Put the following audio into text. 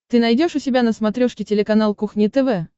ты найдешь у себя на смотрешке телеканал кухня тв